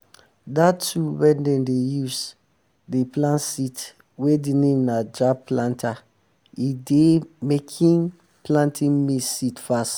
dat tool wey dem dey use um dey plant seeds wey de name na jab planter e dey making planting maize seed fast